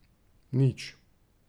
Nič.